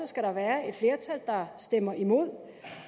skal der være et flertal der stemmer imod